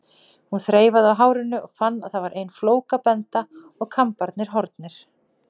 Hún þreifaði á hárinu og fann að það var ein flókabenda og kambarnir horfnir.